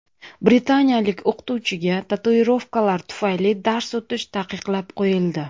Britaniyalik o‘qituvchiga tatuirovkalari tufayli dars o‘tish taqiqlab qo‘yildi.